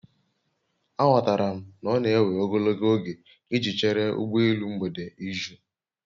Aghọtara m na ọ na-ewe ogologo oge iji chere ụgbọ elu mgbede iju